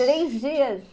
Três dias.